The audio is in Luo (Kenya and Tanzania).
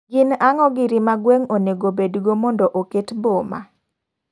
Gin ango giri ma gweng onego bedg o mondo oketo boma?